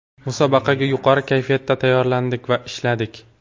Musobaqaga yuqori kayfiyatda tayyorlandik va ishladik.